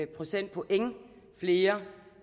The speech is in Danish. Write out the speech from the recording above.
procentpoint flere